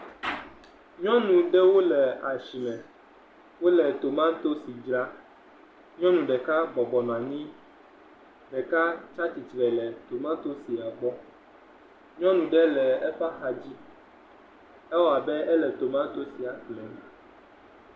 Nyɔnu aɖewo le asime. Wole tomatosi dzram. Nyɔnu ɖeka bɔbɔ nɔ anyi. Ɖeka tsi atsitre le tomatosia gbɔ. Nyɔnu ɖe le eƒe axadzi. Ewɔ abe ele tomatosia ƒlem.